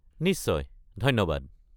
নিশ্চয়, ধন্যবাদ।